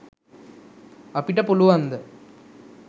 අපිට පුලුවන්ද?